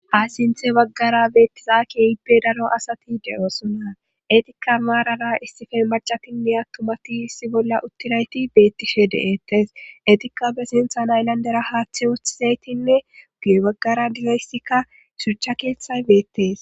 Ha sinthe baggara beettizakiehipbe daro asati de7osona etikka maarara istife macatinne attumati issi bolla uttirayti beettishe deettes etikka be sinthan aylandera haaththe wooththizaytinne uguye baggara digayssikka shucha keeththay beettes